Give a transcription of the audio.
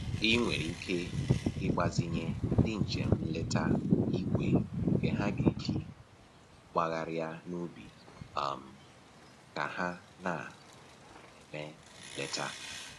I nwere ike igbazinye ndị njem nleta igwe nke ha ga-eji gbagharịa n'ubi um ka ha na-eme nleta